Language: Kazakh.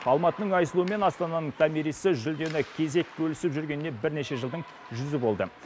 алматының айсұлуы мен астананың томирисі жүлдені кезек бөлісіп жүргеніне бірнеше жылдың жүзі болды